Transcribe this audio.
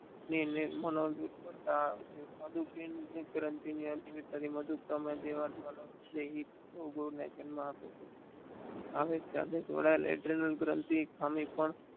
અને મનોનિર્મળતા સાદું નિર્મળતાનું મનોબળથી મૂર્તદેહ લોકો જન્મ આપે છે. આ વેશ ખાતે જોડાયેલ લેટરગાનથી છે